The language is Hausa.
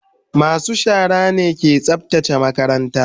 masu shara ne ke tsaftace makaranta.